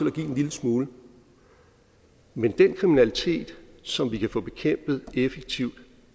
at give en lille smule men den kriminalitet som vi kan få bekæmpet effektivt